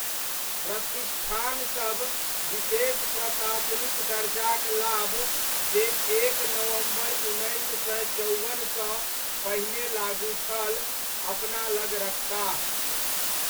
प्रतिष्ठानसब विशेष प्रशासनिक दर्जाक लाभ जे एक नवम्बर उन्नैस सय चौवनसँ पहिने लागू छल, अपना लग रखताह।